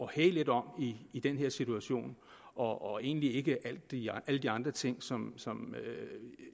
hæge lidt om i den her situation og egentlig ikke alle de andre ting som